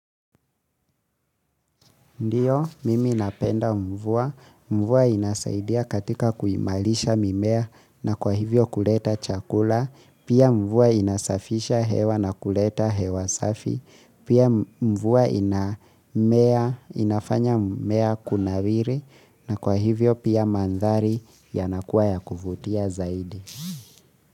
Ndiyo, mimi napenda mvua. Mvua inasaidia katika kuimarisha mimea na kwa hivyo kuleta chakula. Pia mvua inasafisha hewa na kuleta hewa safi. Pia mvua inafanya mmea kunawiri. Na kwa hivyo pia mandhari yanakuwa ya kuvutia zaidi.